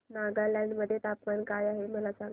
नागालँड मध्ये तापमान काय आहे मला सांगा